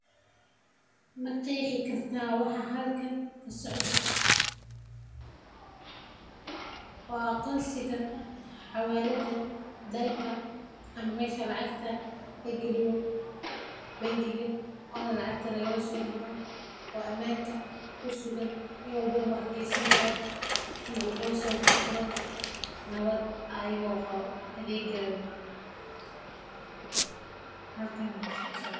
Ma qeexi kartaa waxa halkan kasocdo waa aqonsiga xawalada dalka ama meesha lacagta lagaliyo oona lagala soo baxo oo qofka uu gashan karo uuna lasoo bixi karo asaga oo amaan qabto.